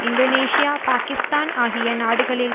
Indonesia Pakistan ஆகிய நாடுகளில்